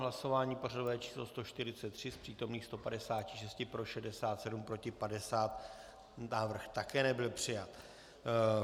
Hlasování pořadové číslo 143, z přítomných 156 pro 67, proti 50, návrh také nebyl přijat.